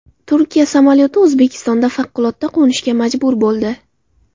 Turkiya samolyoti O‘zbekistonda favqulodda qo‘nishga majbur bo‘ldi.